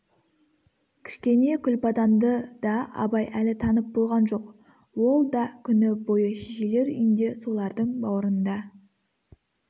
кішкене күлбаданды да абай әлі танып болған жоқ ол да күні бойы шешелер үйінде солардың баурында